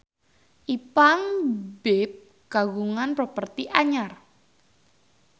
Ipank BIP kagungan properti anyar